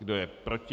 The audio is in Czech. Kdo je proti?